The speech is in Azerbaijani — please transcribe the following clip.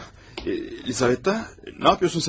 Ah, Lizaveta, nə yapıyorsun sən orada?